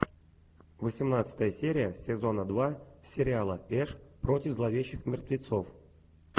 восемнадцатая серия сезона два сериала эш против зловещих мертвецов